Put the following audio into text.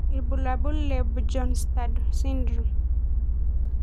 Ibulabul le Bjornstad syndrome.